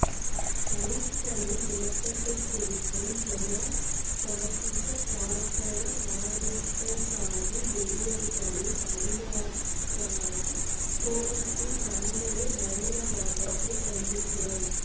தலித்களின் இரத்தத்தை குடிக்கும் ஜெயா பாசிச பார்ப்பன ஆதிக்கசாதி வெறியர்களின் அடியாட்களான போலிஸின் வன்முறை பயங்கரவாதத்தை கண்டிக்கிறோம்